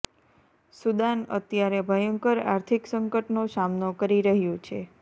Sudan અત્યારે ભયંકર આર્થિક સંકટનો સામનો કરી રહ્યુ છે